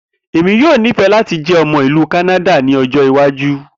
Emi yoo nifẹ lati jẹ ọmọ ilu Kanada ni ọjọ iwaju.